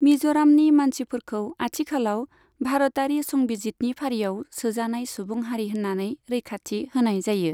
मिज'रामनि मानसिफोरखौ आथिखालाव भारतारि संबिजिदनि फारियाव सोजानाय सुबुं हारि होननानै रैखाथि होनाय जायो।